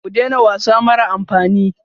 Ku daina wasa mara amfani.